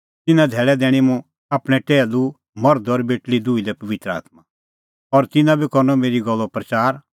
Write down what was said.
तिन्नां धैल़ै दैणीं मुंह आपणैं टैहलू मर्ध और बेटल़ी दुही लै पबित्र आत्मां और तिन्नां बी करनअ मेरी गल्लो प्रच़ार